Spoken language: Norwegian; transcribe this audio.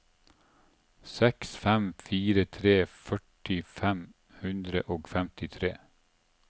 seks fem fire tre førti fem hundre og femtitre